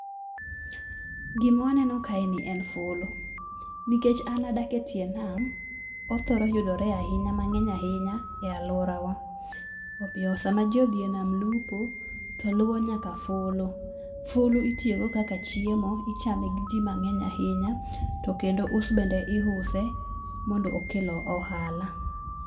Gima waneno kaeni en fulu. Nikech an adak etie nam, othoro yudore ahinya mang'eny ahinya e aluorawa. Omiyo sama ji odhi e nam lupo, to luwo nyaka fulu. Fulu itiyogo kaka chiemo, ichame gi ji mang'eny ahinya, to kendo us bende iuse mondo okel ohala.